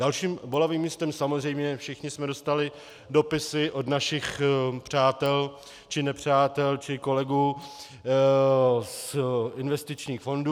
Dalším bolavým místem - samozřejmě všichni jsme dostali dopisy od našich přátel či nepřátel či kolegů z investičních fondů.